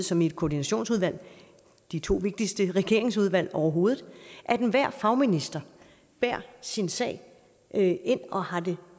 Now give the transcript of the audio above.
som i et koordinationsudvalg de to vigtigste regeringsudvalg overhovedet at enhver fagminister bærer sin sag ind ind og har den